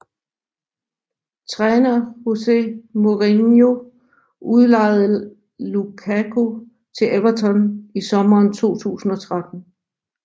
Træner José Mourinho udlejede Lukaku til Everton i sommeren 2013